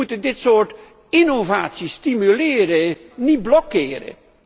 Wij moeten dit soort innovatie stimuleren, niet blokkeren.